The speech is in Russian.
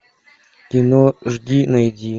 кино жди найди